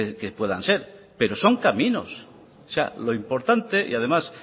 que puedan ser pero son caminos o sea lo importante y además